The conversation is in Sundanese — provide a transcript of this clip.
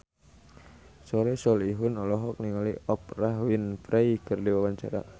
Soleh Solihun olohok ningali Oprah Winfrey keur diwawancara